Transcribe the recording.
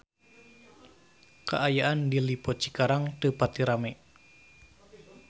Kaayaan di Lippo Cikarang teu pati rame